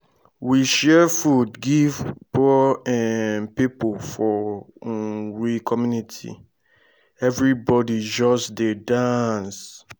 we share food give poor um pipo for um we community everybodi just dey dance.